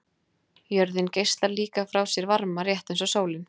Jörðin geislar líka frá sér varma, rétt eins og sólin.